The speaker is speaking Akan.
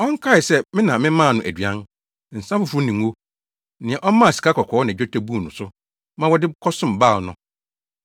Ɔnkae sɛ me na memaa no aduan, nsa foforo ne ngo, nea ɔmaa sikakɔkɔɔ ne dwetɛ buu no so ma wɔde kɔsom Baal no.